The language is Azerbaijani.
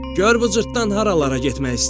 Gör bu cırtdan haralara getmək istəyir?